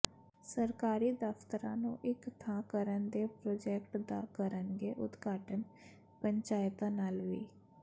ਸਰਕਾਰੀ ਦਫ਼ਤਰਾਂ ਨੂੰ ਇਕ ਥਾਂ ਕਰਨ ਦੇ ਪ੍ਰੋਜੈਕਟ ਦਾ ਕਰਨਗੇ ਉਦਘਾਟਨ ਪੰਚਾਇਤਾਂ ਨਾਲ ਵਿ